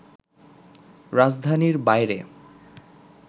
রাজধানীর বাইরে